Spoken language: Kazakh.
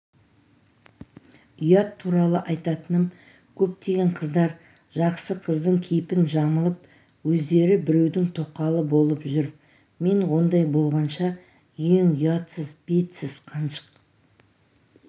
ұят туралы айтатыным көптеген қыздар жақсы қыздың кейпін жамылып өздері біреудің тоқалы болып жүр мен ондай болғанша ең ұятсыз бетсіз қаншық